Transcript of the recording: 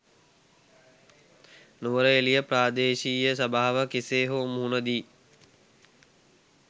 නුවරඑළිය ප්‍රාදේශීය සභාව කෙසේ හෝ මුහුණ දී